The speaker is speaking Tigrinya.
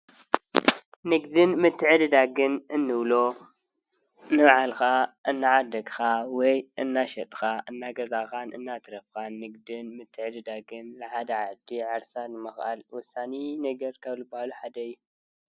ንግድን መትዕድዳግን እንብሎ ፡-ንባዕልካ እናዓደግካ ወይ እናሸጥካ፣ እናገዛእካን እናትረፍካን ንግድን ምትዕድዳግን ንሓደ ዓዲ ዓርሳ ንምክኣል ወሳኒ ነገር ካብ ዝብባሃሉ ሓደ እዩ፡፡